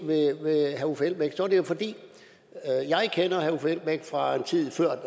er det jo fordi jeg kender herre uffe elbæk fra tiden før